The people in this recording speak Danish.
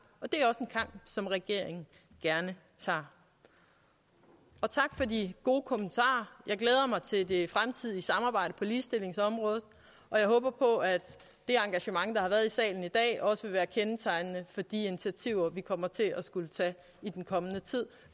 som regeringen gerne tager tak for de gode kommentarer jeg glæder mig til det fremtidige samarbejde på ligestillingsområdet og jeg håber på at det engagement der har været i salen i dag også vil være kendetegnende for de initiativer vi kommer til at skulle tage i den kommende tid